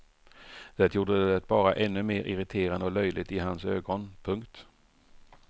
Det gjorde det bara ännu mer irriterande och löjligt i hans ögon. punkt